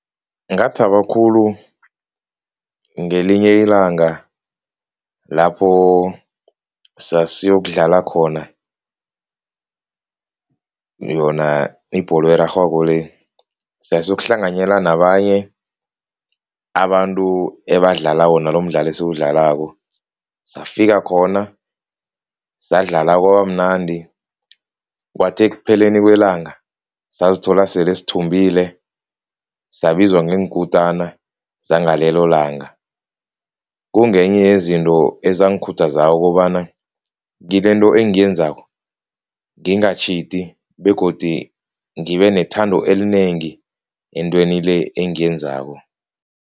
Ngingathaba khulu ngelinye ilanga lapho sasiyokudlala khona yona ibholo erarhwako le, sasiyokuhlanganyela nabanye abantu ebadlala wona lomdlalo esiwudlalako, safika khona sadlala kwabamnandi kwathi ekupheleni kwelanga sazithola sele sithumbile sabizwa ngeenkutana zangalelo langa, kungenye yezinto ezangikhuthazako kobana kilento engiyenzako, ngingatjhidi begodi ngibe nethando elinengi entweni le engiyenzako.